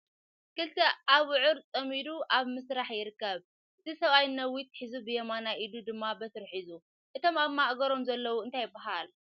ክልተ ኣብዑር ፀሚዱ ኣብ ምስራሕ ይርከብ ። እቲ ስብኣይ ነዊት ሒዙ ብያመናይ ኢዱ ድማ በትሪ ሒዙ ። እቶም ኣብ ማሕገሮም ዘሎ እንታይ ይባሃል ።